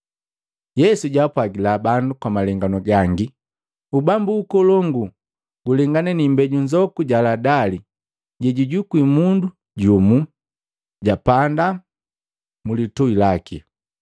Yesu jaapwagila bandu kwa malenganu gangi, “Ubambu ukolongu gulengana ni imbeju nzoku ja haladali jejajukwi mundu jumu, japaanda mulitui laki.